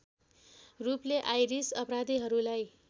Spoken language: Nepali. रूपले आइरिस अपराधीहरूलाई